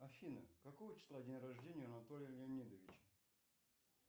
афина какого числа день рождения у анатолия леонидовича